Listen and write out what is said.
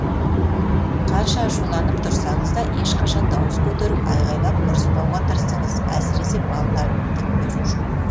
қанша ашуланып тұрсаңыз да ешқашан дауыс көтеріп айғайлап ұрыспауға тырысыңыз әсіресе балалардың көзінше